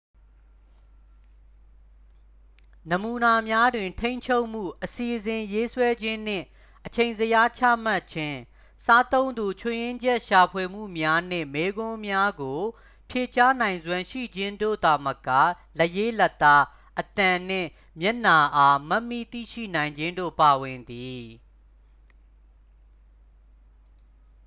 နမူနာများတွင် ထိန်းချုပ်မှု အစီအစဉ်ရေးဆွဲခြင်းနှင့် အချိန်ဇယားချမှတ်ခြင်း စားသုံးသူ ချွတ်ယွင်းချက်ရှာဖွေမှုများနှင့် မေးခွန်းများကို ဖြေကြားနိုင်စွမ်းရှိခြင်းတို့သာမက လက်ရေးလက်သား အသံနှင့် မျက်နှာအား မှတ်မိသိရှိနိုင်ခြင်းတို့ ပါဝင်သည်